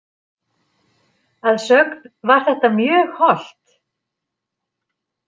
Að sögn var þetta mjög hollt.